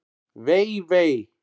Vei, vei!